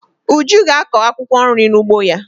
Uju ga-akọ akwụkwọ nri n'ugbo ya.